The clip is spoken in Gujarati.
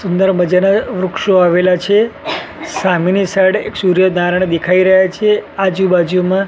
સુંદર મજાના વૃક્ષો વાવેલા છે સામેની સાઈડ એક સૂર્યનારાય ણ દેખાઈ રહ્યા છે આજુબાજુમાં--